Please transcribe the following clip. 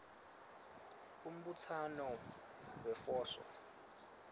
umbutsano wefoso